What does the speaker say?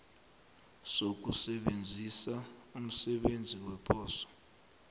sokusebenzisa umsebenzi weposo